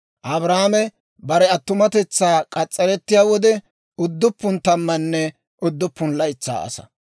Abrahaame bare attumatetsaa k'as's'arettiyaa wode, udduppun tammanne udduppun laytsaa asaa;